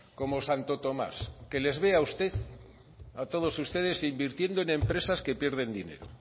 como santo tomás que les veo a usted a todos ustedes invirtiendo en empresas que pierden dinero